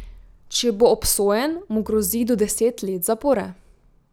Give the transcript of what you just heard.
Če bo obsojen, mu grozi do deset let zapora.